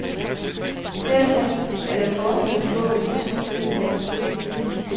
Derfor er der forskel på, hvad de to køn er gode til.